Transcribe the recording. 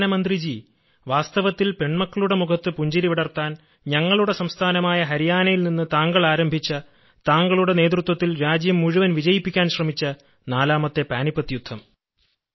പ്രധാനമന്ത്രിജി വാസ്തവത്തിൽ പെൺമക്കളുടെ മുഖത്ത് പുഞ്ചിരി വിടർത്താൻ ഞങ്ങളുടെ സംസ്ഥാനമായ ഹരിയാനയിൽ നിന്ന് താങ്കൾ ആരംഭിച്ച താങ്കളുടെ നേതൃത്വത്തിൽ രാജ്യം മുഴുവൻ വിജയിപ്പിക്കാൻ ശ്രമിച്ച നാലാമത്തെ പാനിപ്പത്ത് യുദ്ധം